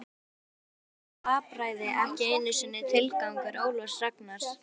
Enda er þetta glapræði ekki einu sinni tilgangur Ólafs Ragnars.